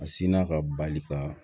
A sinna ka bali ka